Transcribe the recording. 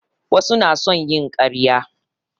Wasu na son yin ƙarya